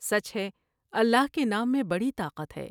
سچ ہے اللہ کے نام میں بڑی طاقت ہے ۔